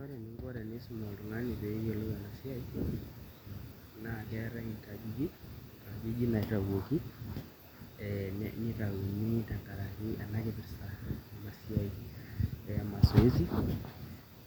Ore eninko teniisum iltung'anak pee eyiolou ena siai naa keetai inkajijik , inkajijk naitauoki tenkaraki ena kipirta ena siai e